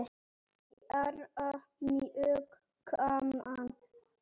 Bara mjög gaman.